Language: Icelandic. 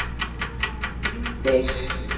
Bryngeir